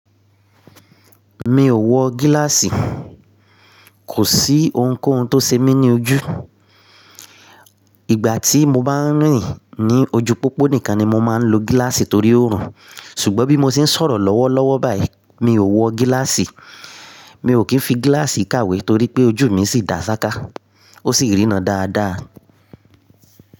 Mi ò wọ gíláàsì, kò sí ohunkóhun tó ṣe mí ní ojú. Ìgbà tí mo bá ń rìn ní ojú pópó nìkan ni mo máa ń lo gíláàsì torí oòrùn. Ṣùgbọ́n bí mo ṣe ń sọ̀rọ̀ lọ́wọ́lọ́wọ́ báyìí mi ò wọ gíláàsì. Mi ò kí ń fi gíláàsì kàwé torí pé ojú mi sì dá ṣáká, ó sì rìna dáadáa.